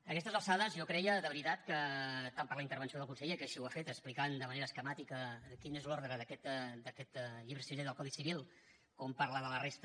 a aquestes alçades jo creia de veritat que tant per la intervenció del conseller que així ho ha fet explicant de manera esquemàtica quin és l’ordre d’aquest llibre sisè del codi civil com parlar de la resta